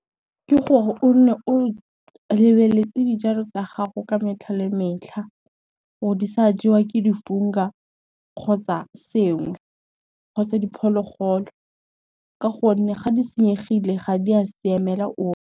Ke gore o nne o lebeletse dijalo tsa gago ka metlha le metlha, gore di sa jewa ke di-funga, kgotsa sengwe, kgotsa diphologolo ka gonne ga di senyegile ga di a siamela ope.